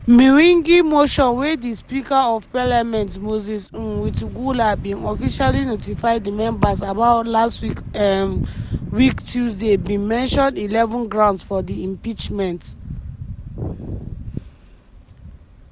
mwengi motion wey di speaker of parliament moses um wetang’ula bin officially notify di members about last um week tuesday bin mention eleven grounds for di impeachment.